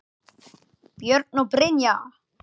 Björn og Brynja.